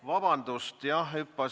Vabandust!